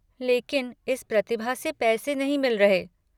लेकिन इस प्रतिभा से पैसे नहीं मिल रहे।